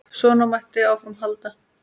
Svona mætti áfram halda.